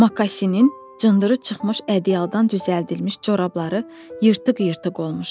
Makasinin cındırı çıxmış ədyaldan düzəldilmiş corabları yırtıq-yırtıq olmuşdu.